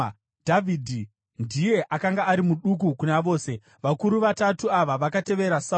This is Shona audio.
Dhavhidhi ndiye akanga ari muduku kuna vose. Vakuru vatatu ava vakatevera Sauro,